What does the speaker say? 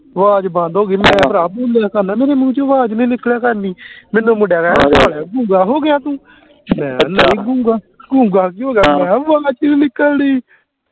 ਆਵਾਜ਼ ਬੰਦ ਹੋ ਗਈ ਮੈਂ ਭਰਾ ਬੋਲਿਆ ਮੇਰੇ ਮੂੰਹ ਚੋ ਆਵਾਜ਼ ਨੀ ਨਿਕਲਿਆ ਕਰਨੀ ਮੈਨੂੰ ਮੁੰਡੀਆ ਦਾ ਗੂੰਗਾ ਹੋ ਗਿਆ ਤੂੰ ਮੈਂ ਨਹੀਂ ਗੂੰਗਾ ਗੂੰਗਾ ਕੀ ਹੋ ਗਿਆ ਮੈ ਹਾਂ ਆਵਾਜ਼ ਨੀ ਨਿਕਲਦੀ